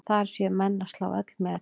Þar séu menn að slá öll met.